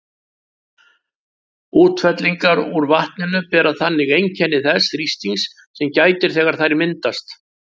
Útfellingar úr vatninu bera þannig einkenni þess þrýstings sem gætir þegar þær myndast.